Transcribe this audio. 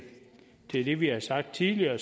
det det vi har sagt tidligere